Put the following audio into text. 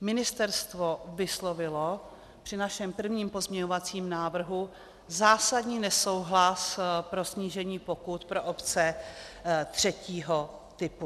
Ministerstvo vyslovilo při našem prvním pozměňovacím návrhu zásadní nesouhlas se snížením pokut pro obce třetího typu.